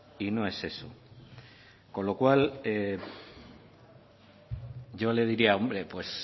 y no es eso con lo cual yo le diría hombre pues